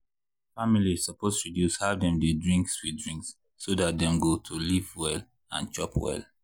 families suppose reduce how dem dey drink sweet drinks so dat dem go to live well and chop well.